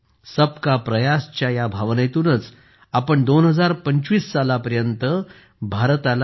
सबका प्रयास च्या या भावनेतूनच आपण 2025 सालापर्यंतभारताला टी